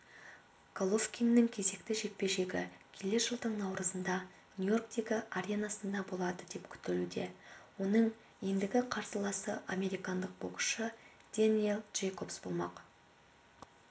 головкиннің кезекті жекпе-жегі келер жылдың наурызында нью-йорктегі аренасында болады деп күтілуде оның ендігі қарсыласы американдық боксшы дэниел джейкобс болмақ